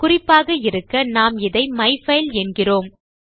குறிப்பாக இருக்க நாம் இதை மைஃபைல் என்கிறோம்